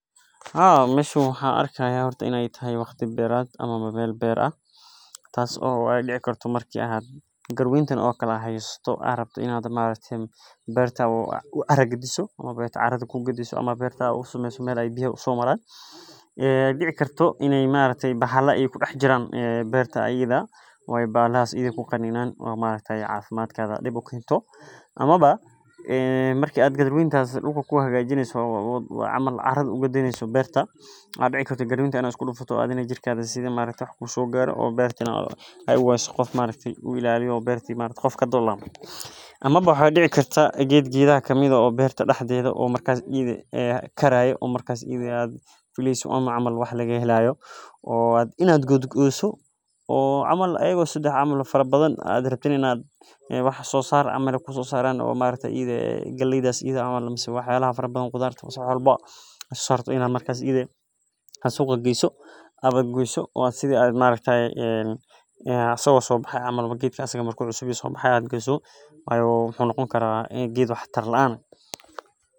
Haa meshan waxan arki haya in ee tahay meel beer ah ama beerta aa u cara gadin rabto ama biya aa u warabiso marka waxaa dicikartaa in lagu qaninomaxaa dici karta in aa maharafta isku dufato ama waxaa dacda in aa geed sobaxaye oo aa suqa geyni rabte in aa goyso sawabtoah wa dur jogtodha sifa ee dadka kale ama dadkan ugarsatadha eh u ugarsanin.